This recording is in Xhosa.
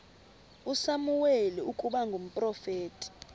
usamuweli ukuba ngumprofeti